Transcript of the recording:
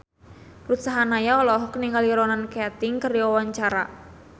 Ruth Sahanaya olohok ningali Ronan Keating keur diwawancara